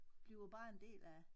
Bliver bare en del af